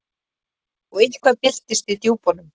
Og eitthvað byltist í djúpunum.